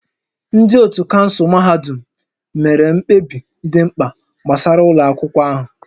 Ndị otu kansụl mahadum mere mkpebi dị mkpa gbasara ụlọ akwụkwọ ahụ